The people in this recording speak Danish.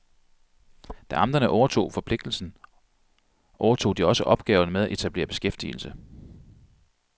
Da amterne overtog forpligtigelsen, overtog de også opgaven med at etablere beskæftigelse.